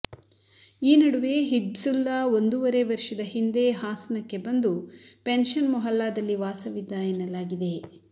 ಈ ನಡುವೆ ಹಿಬ್ಸುಲ್ಲಾ ಒಂದೂವರೆ ವರ್ಷದ ಹಿಂದೆ ಹಾಸನಕ್ಕೆ ಬಂದು ಪೆನ್ಷನ್ ಮೊಹಲ್ಲಾದಲ್ಲಿ ವಾಸವಿದ್ದ ಎನ್ನಲಾಗಿದೆ